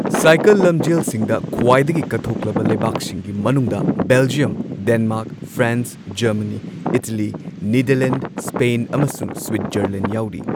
Cycle ꯂꯝꯖꯦꯜꯁꯤꯡꯗ ꯈ꯭ꯋꯥꯏꯗꯒꯤ ꯀꯠꯊꯣꯛꯂꯕ ꯂꯩꯕꯥꯛꯁꯤꯡꯒꯤ ꯃꯅꯨꯡꯗ Belgium, Denmark, France, Germany, Italy, Netherlands, Spain ꯑꯃꯁꯨꯡ ꯁ꯭ꯋꯤꯠꯖꯔꯂꯦꯟꯗ ꯌꯥꯎꯔꯤ꯫